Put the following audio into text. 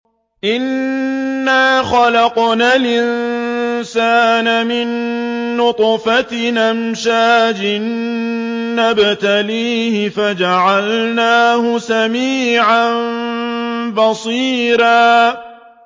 إِنَّا خَلَقْنَا الْإِنسَانَ مِن نُّطْفَةٍ أَمْشَاجٍ نَّبْتَلِيهِ فَجَعَلْنَاهُ سَمِيعًا بَصِيرًا